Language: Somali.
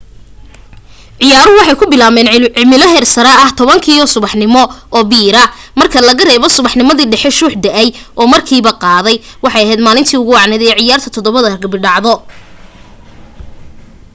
ciyaaruhu waxay ku bilaabmeen cimilo heersare ah 10:00 subaxnimo marka laga reebo subaxnimadii dhexe shuux da'ay oo markiiba qaaday waxay ahayd maalintii ugu wacnayd ee ciyaarta 7 ragbi dhacdo